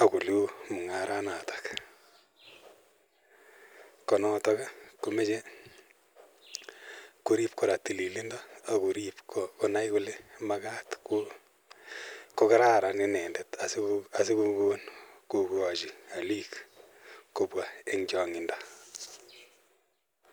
ak koluu mongaraat noton, ko noton komoche koriib kora tililindo ak koriib konaai kole magaat kogararan inendet asigogon kogochi oliik kobwa en chongindo.